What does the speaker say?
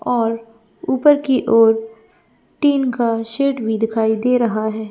और ऊपर की ओर टिन का शेड भी दिखाई दे रहा है।